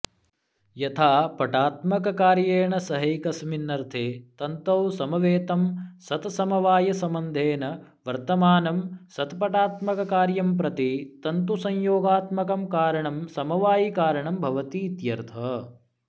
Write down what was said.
यथा पटात्मककार्येण सहैकस्मिन्नर्थे तन्तौ समवेतं सत्समवायसम्बन्धेन वर्तमानं सत्पटात्मककार्यम्प्रति तन्तुसंयोगात्मकं कारणमसमवायिकारणं भवतीत्यर्थः